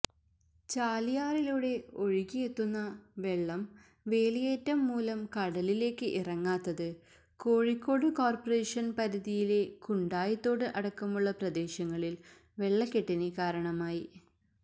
ചാലിയാറിലൂടെ ഒഴുകിയെത്തുന്ന വെളളം വേലിയേറ്റം മൂലം കടലിലേക്ക് ഇറങ്ങാത്തത് കോഴിക്കോട് കോര്പറേഷന് പരിധിയിലെ കുണ്ടായിത്തോട് അടക്കമുളള പ്രദേശങ്ങളില് വെളളക്കെട്ടിന് കാരണമായി